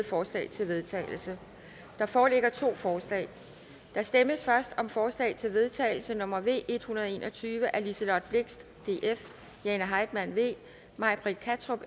forslag til vedtagelse der foreligger to forslag der stemmes først om forslag til vedtagelse nummer v en hundrede og en og tyve af liselott blixt jane heitmann may britt kattrup